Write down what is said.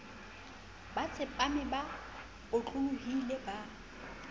ba tsepame ba otlolohile ba